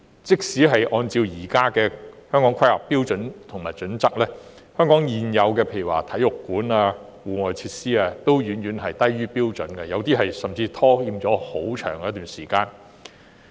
即使根據《香港規劃標準與準則》的現行標準，香港現有的體育館及戶外設施等多項設施亦遠低於標準，部分設施更是遲遲未能建成。